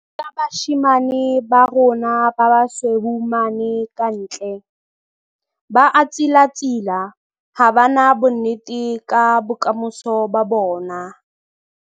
'Ke tshwenyehile ka bashanyana ba rona ba basweu mane ka ntle. Ba a tsilatsila, ha ba na bonnete ka bokamoso ba bona'.